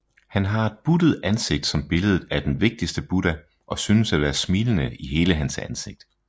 Han har et buttet ansigt som billedet af den vigtigste Buddha og synes at være smilende i hele hans ansigt